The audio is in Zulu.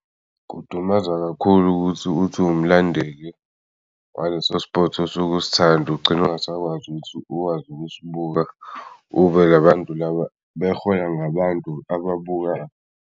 Kudumaza kakhulu uthi uwumlandeli waleso-sport osuku'sthanda ugcine ungasakwazi ukusibuka, ube yilabantu laba bahola ngabantu ababukayo.